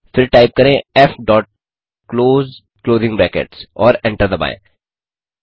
फिर टाइप करें f dot close closing brackets और एंटर दबाएँ